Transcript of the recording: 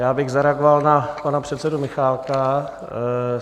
Já bych zareagoval na pana předsedu Michálka.